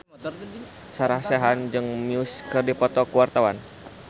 Sarah Sechan jeung Muse keur dipoto ku wartawan